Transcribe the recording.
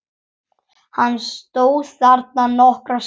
Hann stóð þarna nokkra stund.